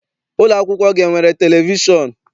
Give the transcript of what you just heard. Ụlọakwụkwọ gị enwere televishọn?